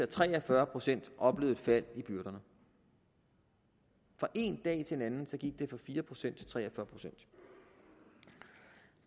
tre og fyrre procent oplevede et fald i byrderne fra én dag til en anden gik det fra fire procent til tre og fyrre procent